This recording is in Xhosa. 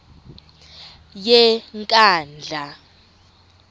yenkandla